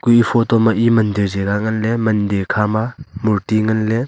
ku eya photo ma e mandir jaga nganley mandir khama murti nganley.